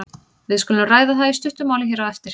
Við skulum ræða það í stuttu máli hér á eftir.